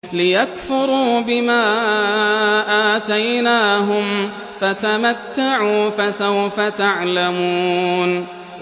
لِيَكْفُرُوا بِمَا آتَيْنَاهُمْ ۚ فَتَمَتَّعُوا ۖ فَسَوْفَ تَعْلَمُونَ